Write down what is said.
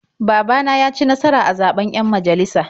Baba na ya ci nasara a zaɓen 'yan majalisa.